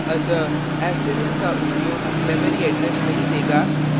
अतः ऐस्ट्रीक का उपयोग memory address नहीं देगा